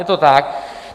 Je to tak.